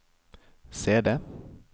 CD